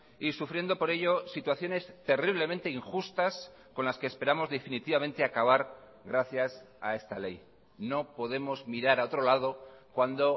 y sufriendo por ello situaciones terriblemente injustas con las que esperamos definitivamente acabar gracias a esta ley no podemos mirar a otro lado cuando